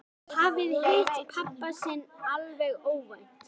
Hafði hitt pabba sinn alveg óvænt.